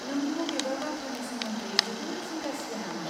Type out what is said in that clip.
नों बबेबा बाथ्रानि सोमोन्दै जोबोद जिंगा सियो नामा?